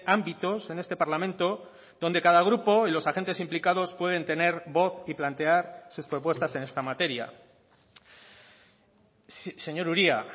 ámbitos en este parlamento donde cada grupo y los agentes implicados pueden tener voz y plantear sus propuestas en esta materia señor uria